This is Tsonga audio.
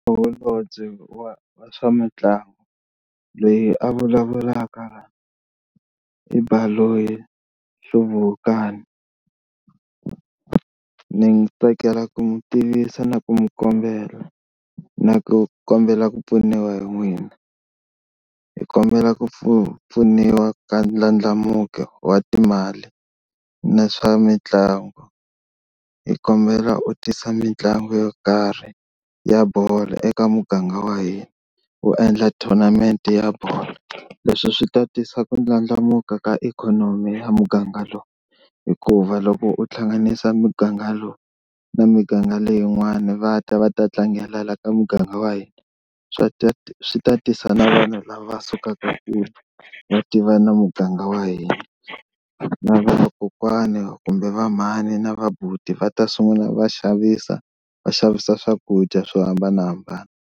Holobye wa wa swa mitlangu loyi a vulavulaka i Baloyi Hluvukani ni tsakela ku mi tivisa na ku mi kombela na ku kombela ku pfuniwa hi n'wina, hi kombela ku pfuniwa ka ndlandlamuko wa timali na swa mitlangu hi kombela u tisa mitlangu yo karhi ya bolo eka muganga wa hina u endla tournament ya bolo leswi swi ta tisa ku ndlandlamuka ka ikhonomi ya muganga lowu. Hikuva loko u hlanganisa muganga lowu na miganga leyin'wani va ta va ta tlangela la ka muganga wa hina swa swi ta tisa na vanhu lava sukaka kule va tiva na muganga wa hina na vakokwana kumbe vamhani na vabuti va ta sungula va xavisa va xavisa swakudya swo hambanahambana.